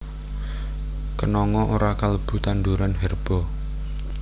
Kenanga ora kalebu tanduran herba